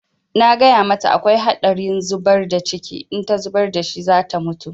Na gaya mata akwai haɗari zubar da ciki, in ta zubar da shi za ta mutu.